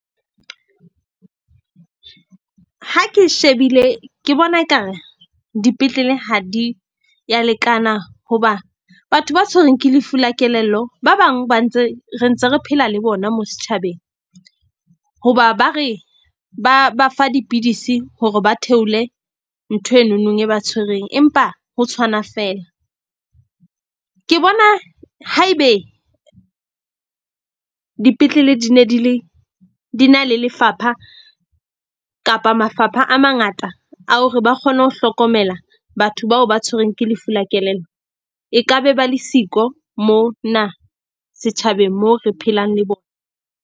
Ha ke shebile ke bona ekare dipetlele ha di ya lekana hoba batho ba tshwerweng ke lefu la kelello, ba bang ba ntse re ntse re phela le bona mo setjhabeng. Hoba ba re ba ba fa dipidisi hore ba theole ntho enonong e ba tshwereng. Empa ho tshwana feela ke bona haebe dipetlele di ne di le di na le lefapha kapa mafapha a mangata, a hore ba kgone ho hlokomela batho bao ba tshwerweng ke lefu la kelello. E ka be ba le siko mona setjhabeng moo re phelang le .